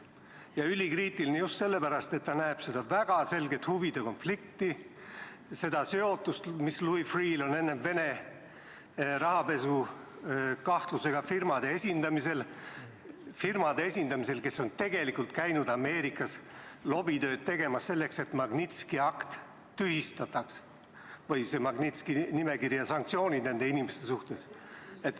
Ja ülikriitiline just sellepärast, et ta näeb seal väga selget huvide konflikti, seda seotust, mis Louis Freeh'l on varasemast ajast Vene rahapesukahtlusega firmade esindamisel – selliste firmade esindamisel, kes on käinud Ameerikas lobitööd tegemas, et tühistataks Magnitski nimekiri ja sanktsioonid nende inimeste suhtes.